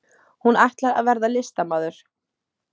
Hún ætlar að verða listamaður.